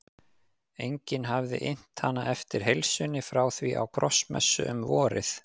Enginn hafði innt hana eftir heilsunni frá því á krossmessu um vorið.